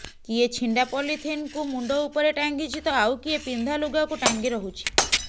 କିଏ ଛିଣ୍ଡା ପଲିଥିନକୁ ମୁଣ୍ଡ ଉପରେ ଟାଙ୍ଗିଛି ତ ଆଉ କିଏ ପିନ୍ଧା ଲୁଗାକୁ ଟାଙ୍ଗି ରହୁଛି